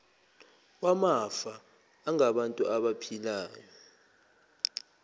wamafa angabantu abaphilayo